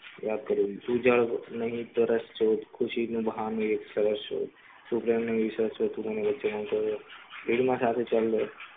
તું જયાં નહીં સરસ ખુશી નું બહાનું સરસ છે